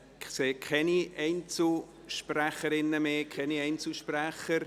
Ich sehe keine weiteren Einzelsprecherinnen und Einzelsprecher.